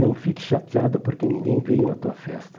Não fique chateado porque ninguém veio na tua festa.